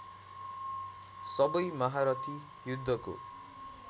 सबै महारथी युद्धको